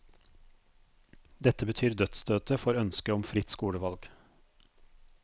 Dette betyr dødsstøtet for ønsket om fritt skolevalg.